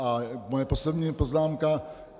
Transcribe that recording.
A moje poslední poznámka.